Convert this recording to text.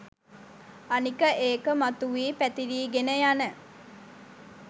අනික ඒක මතුවී පැතිරීගෙන යන